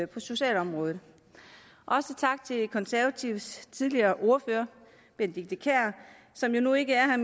på socialområdet også tak til de konservatives tidligere ordfører benedikte kiær som jo nu ikke er